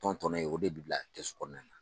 Tɔn tɔnɔn in o de bila kɛsu kɔnɔna na.